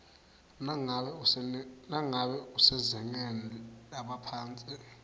nangabe usezingeni lebaphatsi